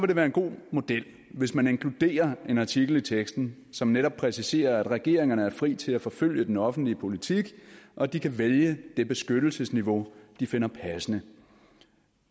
det være en god model hvis man inkluderer en artikel i teksten som netop præciserer at regeringerne er frie til at forfølge den offentlige politik og de kan vælge det beskyttelsesniveau de finder passende